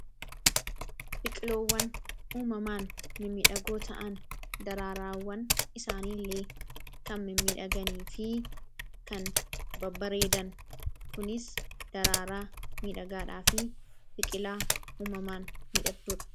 Biqiloowwan uumamaan midhagoo ta'an daraaraawwan isaaniiillee kan m midhaganii fi kan babbareedan kunis daraaraa midhagaadhaa fi biqilaa uumamaan midhagduudha.